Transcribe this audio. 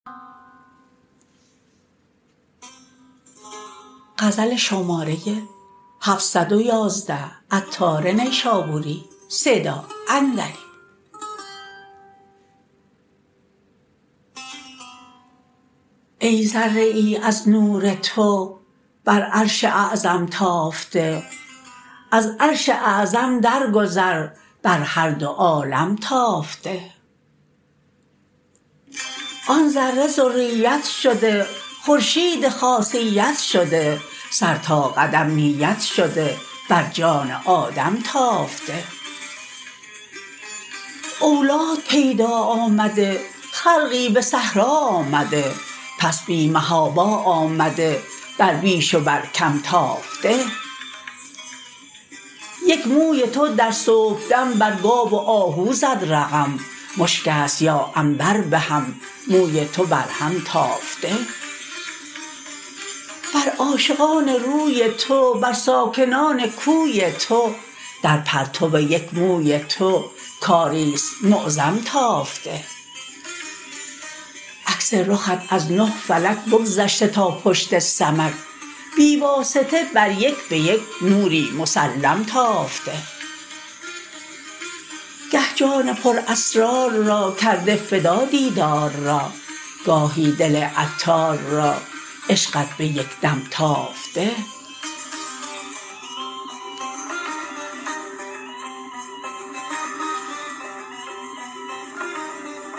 ای ذره ای از نور تو بر عرش اعظم تافته از عرش اعظم در گذر بر هر دو عالم تافته آن ذره ذریت شده خورشید خاصیت شده سر تا قدم نیت شده بر جان آدم تافته اولاد پیدا آمده خلقی به صحرا آمده پس بی محابا آمده بر بیش و بر کم تافته یک موی تو در صبحدم بر گاو و آهو زد رقم مشک است یا عنبر به هم موی تو بر هم تافته بر عاشقان روی تو بر ساکنان کوی تو در پرتو یک موی تو کاری است معظم تافته عکس رخت از نه فلک بگذشته تا پشت سمک بی واسطه بر یک به یک نوری مسلم تافته گه جان پر اسرار را کرده فدا دیدار را گاهی دل عطار را عشقت به یک دم تافته